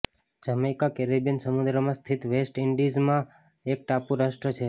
Jamaica Caribbean સમુદ્રમાં સ્થિત west ઈન્ડિઝમાં એક ટાપુ રાષ્ટ્ર છે